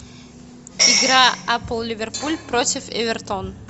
игра апл ливерпуль против эвертон